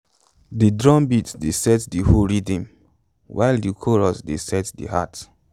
de drumbeat dey set de hoe rhythm while de chorus dey set de heart